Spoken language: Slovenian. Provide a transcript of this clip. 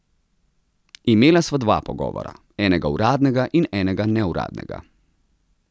Imela sva dva pogovora, enega uradnega in enega neuradnega.